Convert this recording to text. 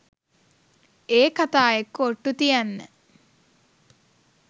ඒ කතා එක්ක ඔට්‍ටු තියන්න